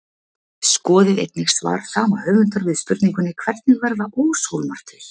Skoðið einnig svar sama höfundar við spurningunni Hvernig verða óshólmar til?